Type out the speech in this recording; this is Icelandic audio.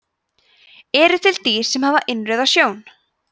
eru til dýr sem hafa innrauða sjón